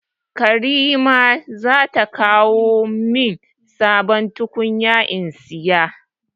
Karima za ta kawo min sabon tukunya in saya.